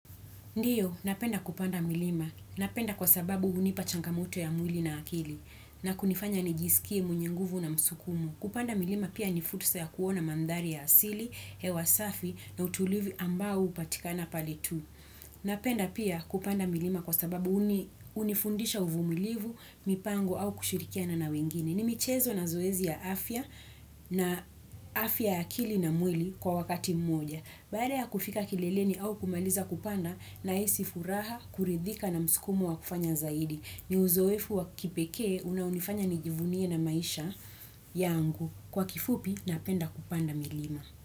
Ndiyo, napenda kupanda milima. Napenda kwasababu hunipa changamoto ya mwili na akili na kunifanya nijisikie mwenye nguvu na msukumo. Kupanda milima pia ni fursa ya kuona mandhari ya asili, hewa safi na utulivu ambao hupatikana pale tu. Napenda pia kupanda milima kwasababu hunifundisha uvumilivu, mipango au kushirikiana na wengine. Ni michezo na zoezi ya afya na afya ya akili na mwili kwa wakati mmoja. Baada ya kufika kileleni au kumaliza kupanda nahisi furaha, kuridhika na msukumo wa kufanya zaidi. Ni uzoefu wa kipekee, unaonifanya nijivunie na maisha yangu. Kwa kifupi, napenda kupanda milima.